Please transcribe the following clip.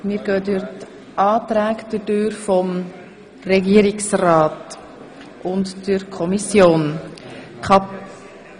Wir gehen nun die Anträge von Regierung und Kommission durch.